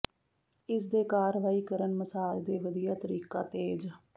ਇਸ ਦੇ ਕਾਰਵਾਈ ਕਰਨ ਮਸਾਜ ਦੇ ਵਧੀਆ ਤਰੀਕਾ ਤੇਜ਼